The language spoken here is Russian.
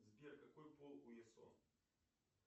сбер какой пол у ясо